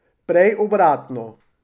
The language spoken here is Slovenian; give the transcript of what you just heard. Prej obratno.